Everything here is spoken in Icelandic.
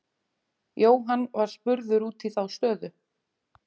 Jóhann var spurður út í þá stöðu.